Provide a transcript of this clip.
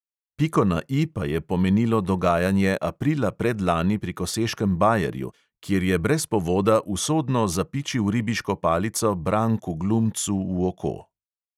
Piko na I pa je pomenilo dogajanje aprila predlani pri koseškem bajerju, kjer je brez povoda usodno zapičil ribiško palico branku glumcu v oko.